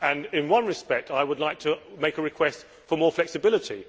In one respect, I would like to make a request for more flexibility.